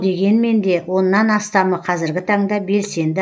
дегенмен де оннан астамы қазіргі таңда белсенді